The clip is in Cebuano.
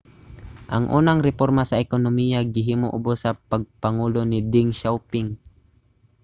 ang unang reporma sa ekonomiya gihimo ubos sa pagpangulo ni deng xiaoping